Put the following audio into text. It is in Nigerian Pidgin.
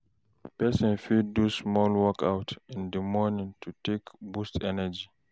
Person fit do small workout in di morning to take boost energy